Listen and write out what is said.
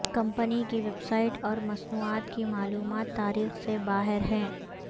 company کی website اور مصنوعات کی معلومات تاریخ سے باہر ہے